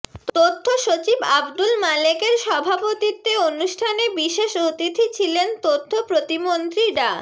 তথ্য সচিব আবদুল মালেকের সভাপতিত্বে অনুষ্ঠানে বিশেষ অতিথি ছিলেন তথ্য প্রতিমন্ত্রী ডা